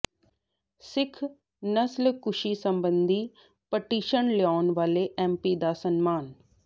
ਸਿੱਖ ਨਸਲਕੁਸ਼ੀ ਸਬੰਧੀ ਪਟੀਸ਼ਨ ਲਿਆਉਣ ਵਾਲੇ ਐਮਪੀ ਦਾ ਸਨਮਾਨ